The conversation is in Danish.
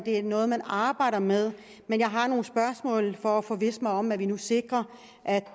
er noget man arbejder med men jeg har nogle spørgsmål for at forvisse mig om at vi nu sikrer at